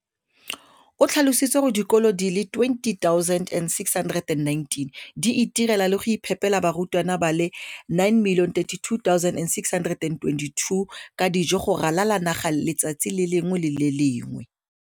o tlhalositse gore dikolo di le 20 619 di itirela le go iphepela barutwana ba le 9 032 622 ka dijo go ralala naga letsatsi le lengwe le le lengwe.